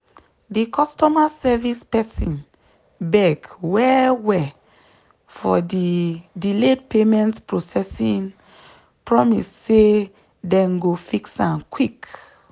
di customer service person beg well-well for di delayed payment processing promise say dem go fix am quick.